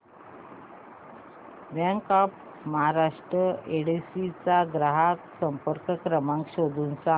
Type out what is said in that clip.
bank of Maharashtra Yedshi चा ग्राहक संपर्क क्रमांक शोधून सांग